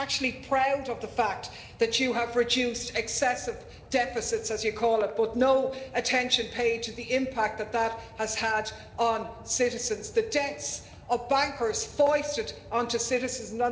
I mean, you're actually proud of the fact that you have reduced excessive deficits, as you call it, but no attention paid to the impact that that has had on citizens the debts of bankers foisted onto citizens.